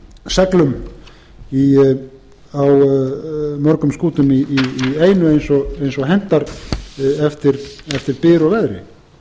seglum á mörgum skútum í einu eins og hentar eftir byr og veðri